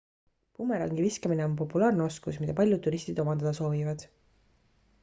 bumerangi viskamine on populaarne oskus mida paljud turistid omandada soovivad